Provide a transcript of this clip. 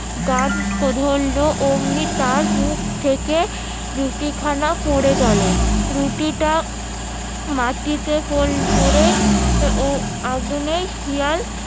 গান ধরলো অমনি তার মুখ থেকে রুটি খানা পরে গেলো রুটিটা মাটিতে পরে শিয়াল